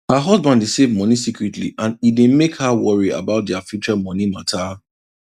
her husband dey save money secretly and e dey mek her worry about their future money matter